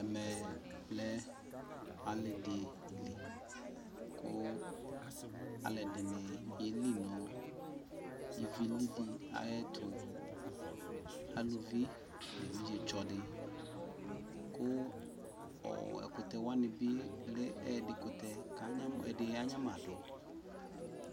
ɛmɛ lɛ alidi kʋ alʋɛdini yɛli nʋ ivi lili ayɛtʋ, alʋvi nʋ ɛvidzɛ tsɔ ni kʋ ɛkʋtɛ wani bi lɛ ɛdi kʋtɛ kʋ ɛdi ya nyamadʋ